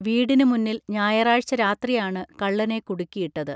വീടിന് മുന്നിൽ ഞായറാഴ്ച രാത്രിയാണ് കള്ളനെ കുടുക്കി ഇട്ടത്